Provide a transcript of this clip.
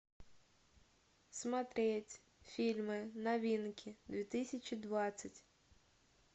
смотреть фильмы новинки две тысячи двадцать